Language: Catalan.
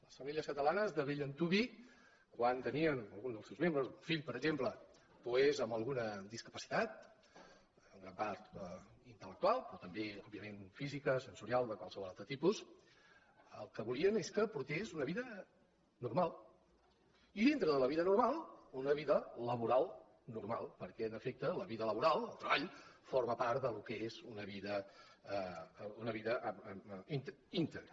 les famílies catalanes de bell antuvi quan tenien al·gun dels seus membres el fill per exemple doncs amb alguna discapacitat en gran part intel·lectual però també a nivell físic sensorial o de qualsevol altre tipus el que volien és que portés una vida normal i dintre de la vida normal una vida laboral normal perquè en efecte la vida laboral el treball forma part del que és una vida íntegra